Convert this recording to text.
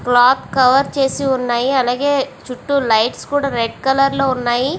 Cloth cover చేసి ఉన్నాయి. అలాగే చుట్టూ లైట్ కూడా రెడ్ కలర్ లో ఉన్నాయి.